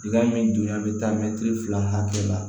min dunya bɛ taa mɛtiri fila hakɛ la